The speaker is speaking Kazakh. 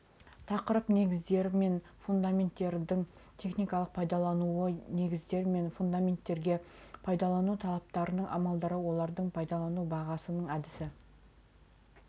тақырып негіздер мен фундаменттердің техникалық пайдалануы негіздер мен фундаменттерге пайдалану талаптарының амалдары олардың пайдалану бағасының әдісі